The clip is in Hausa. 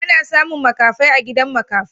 Ana samu makafai a gidan makafai.